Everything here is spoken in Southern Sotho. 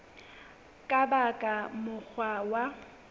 ka ba ka mokgwa wa